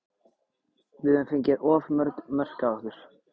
Við höfum fengið of mörg mörk á okkur.